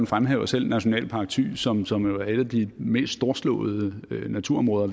fremhæver selv nationalpark thy som som er et af de mest storslåede naturområder